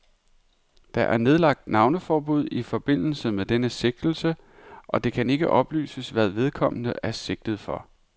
Der er nedlagt navneforbud i forbindelse med denne sigtelse, og det kan ikke oplyses, hvad vedkommende er sigtet for.